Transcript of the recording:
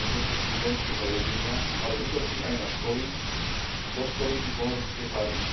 či vojenské zariadenia, ale útočí aj na školy, kostoly či poľnohospodárske farmy.